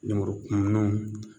Lemurukumunuw